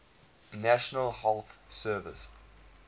national health service